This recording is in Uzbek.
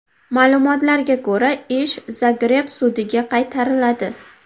Ma’lumotlarga ko‘ra, ish Zagreb sudiga qaytariladi.